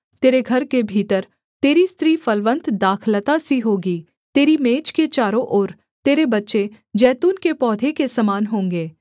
तेरे घर के भीतर तेरी स्त्री फलवन्त दाखलता सी होगी तेरी मेज के चारों ओर तेरे बच्चे जैतून के पौधे के समान होंगे